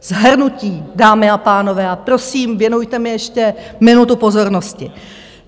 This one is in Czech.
Shrnutí, dámy a pánové, a prosím, věnujte mi ještě minutu pozornosti.